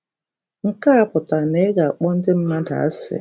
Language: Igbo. Nke a apụtaghị na ị ga - akpọ ndị mmadụ asị.